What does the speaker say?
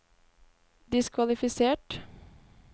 diskvalifisert